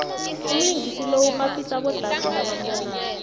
umlingisi lo urhaphisa abodade nabambonako